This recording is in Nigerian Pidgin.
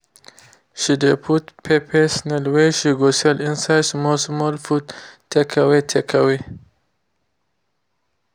she de put peppered snail wey she go sell inside small small food takeaway takeaway